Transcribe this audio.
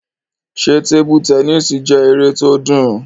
Ṣé tebu tẹnísì jẹ́ eré tó dùn?